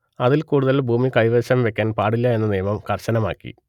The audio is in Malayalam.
അതിൽ കൂടുതൽ ഭൂമി കൈവശം വെക്കാൻ പാടില്ല എന്ന നിയമം കർശനമാക്കി